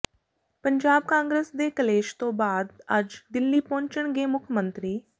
ਪੰਜਾਬ ਕਾਂਗਰਸ ਦੇ ਕਲੇਸ਼ ਤੋਂ ਬਾਅਦ ਅੱਜ ਦਿੱਲੀ ਪਹੁੰਚਣਗੇ ਮੁੱਖ ਮੰਤਰੀ